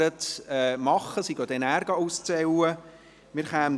Die Stimmenzählenden werden danach auszählen gehen.